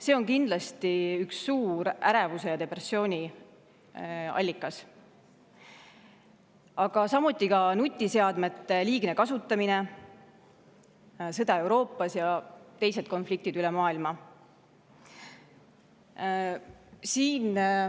See on kindlasti üks suur ärevuse ja depressiooni allikas, samuti nutiseadmete liigne kasutamine, sõda Euroopas ja teised konfliktid üle maailma.